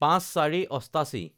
০৫/০৪/৮৮